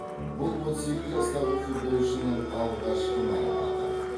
бұл отыз екі жастағы футболшының алғашқы марапаты